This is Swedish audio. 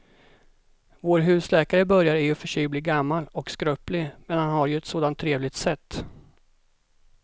Vår husläkare börjar i och för sig bli gammal och skröplig, men han har ju ett sådant trevligt sätt!